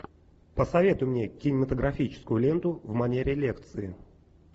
посоветуй мне кинематографическую ленту в манере лекции